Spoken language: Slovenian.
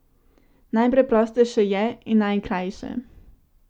Najpreprostejše je in najkrajše.